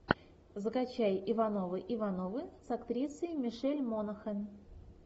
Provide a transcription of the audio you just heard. закачай ивановы ивановы с актрисой мишель монахэн